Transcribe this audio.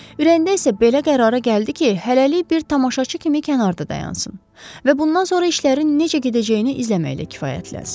Ürəyində isə belə qərara gəldi ki, hələlik bir tamaşaçı kimi kənarda dayansın və bundan sonra işlərin necə gedəcəyini izləməklə kifayətlənsin.